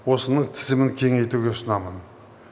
осының тізімін кеңейтуге ұсынамын